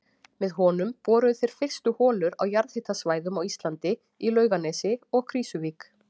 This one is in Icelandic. Með honum boruðu þeir fyrstu holur á jarðhitasvæðum á Íslandi, í Laugarnesi og Krýsuvík.